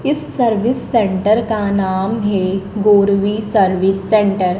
इस service centre का नाम है गोरवी सर्विस सेंटर --